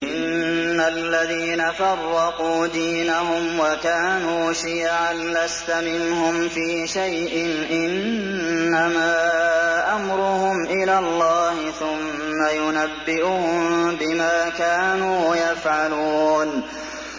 إِنَّ الَّذِينَ فَرَّقُوا دِينَهُمْ وَكَانُوا شِيَعًا لَّسْتَ مِنْهُمْ فِي شَيْءٍ ۚ إِنَّمَا أَمْرُهُمْ إِلَى اللَّهِ ثُمَّ يُنَبِّئُهُم بِمَا كَانُوا يَفْعَلُونَ